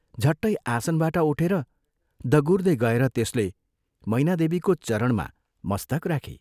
झट्टै आसनबाट उठेर दगुर्दै गएर त्यसले मैना देवीको चरणमा मस्तक राखी।